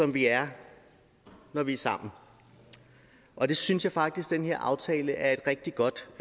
vi er når vi er sammen og det synes jeg faktisk at den her aftale er et rigtig godt